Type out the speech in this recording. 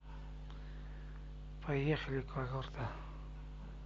поехали когорта